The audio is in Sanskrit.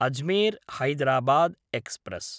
अजमेर्–हैदराबाद् एक्स्प्रेस्